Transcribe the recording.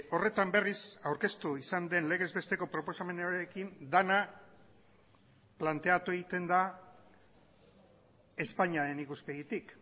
horretan berriz aurkeztu izan den legez besteko proposamenarekin dena planteatu egiten da espainiaren ikuspegitik